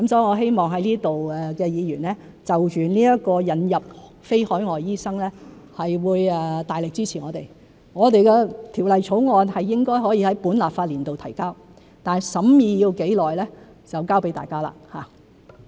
我希望在此的議員就着引入非海外醫生會大力支持我們，我們的條例草案應該可以在本立法年度提交，但審議需時多久就交給大家。